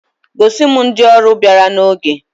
Gosi m ndị ọrụ bịara n'oge!